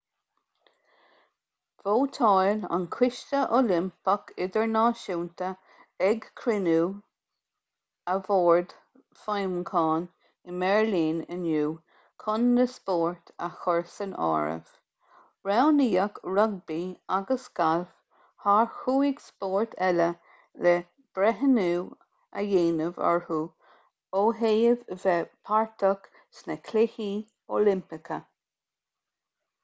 vótáil an coiste oilimpeach idirnáisiúnta ag cruinniú a bhoird feidhmiúcháin i mbeirlín inniu chun na spóirt a chur san áireamh roghnaíodh rugbaí agus galf thar chúig spórt eile le breithniú a dhéanamh orthu ó thaobh bheith páirteach sna cluichí oilimpeacha